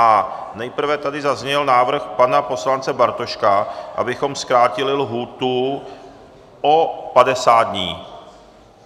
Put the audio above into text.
A nejprve tady zazněl návrh pana poslance Bartoška, abychom zkrátili lhůtu o 50 dní.